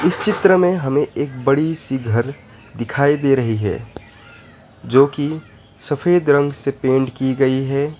इस चित्र में हमें एक बड़ी सी घर दिखाई दे रही है जो की सफेद रंग से पेंट कि गई है।